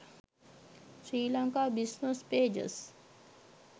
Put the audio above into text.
sri lanka business pages